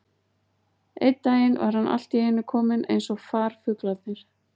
Einn daginn var hann allt í einu kominn eins og farfuglarnir.